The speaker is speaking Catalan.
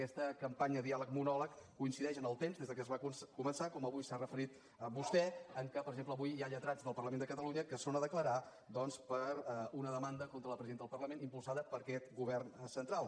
aquesta campanya diàleg monòleg coincideix en el temps des que es va començar com avui s’hi ha referit vostè en què per exemple avui hi ha lletrats del parlament de catalunya que són a declarar doncs per una demanda contra la presidenta del parlament impulsada per aquest govern central